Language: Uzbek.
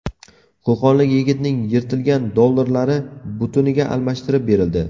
Qo‘qonlik yigitning yirtilgan dollarlari butuniga almashtirib berildi .